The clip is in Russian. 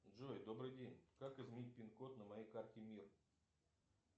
джой добрый день как изменить пинкод на моей карте мир